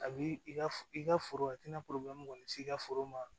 A b'i i ka i ka foro a tɛna porobilɛmu kɔni t'i ka foro ma